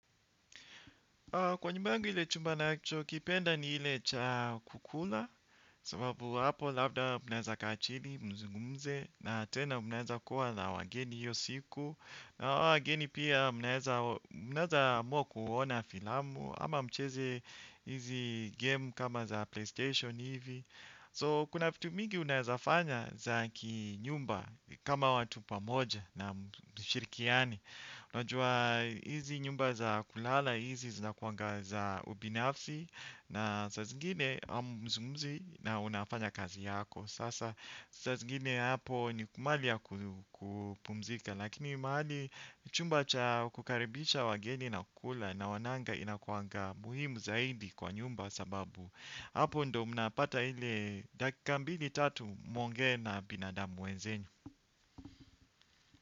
Kwa nyumba yangu ile chumba nacho, kipenda ni ile cha kukula sababu hapo labda munaeza kaa chini, mzungumze na tena munaeza kuwa na wageni hiyo siku na hawa wageni pia munaeza amua kuona filamu ama mcheze hizi game kama za playstation hivi so kuna vitu mingi unaeza fanya za kinyumba kama watu pamoja na mshirikiano unajua hizi nyumba za kulala hizi zinakuanga za ubinafsi na saa zingine hamzungumzi na unafanya kazi yako. Sasa saa zingine hapo ni mahali ya kupumzika lakini mahali chumba cha kukaribisha wageni na kukula naonanga inakuanga muhimu zaidi kwa nyumba sababu. Hapo ndo mnapata ile dakika mbili tatu muongee na binadamu wenzenyu.